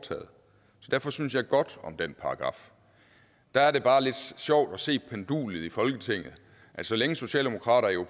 jeg derfor synes jeg godt om den paragraf der er det bare lidt sjovt at se pendulet i folketinget så længe socialdemokratiet